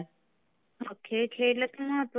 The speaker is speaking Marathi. खेळ खेळणं महत्वाचंच आहे.